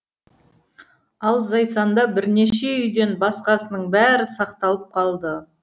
ал зайсанда бірнеше үйден басқасының бәрі сақталып қалды